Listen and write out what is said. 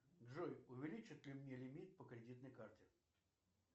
джой увеличат ли мне лимит по кредитной карте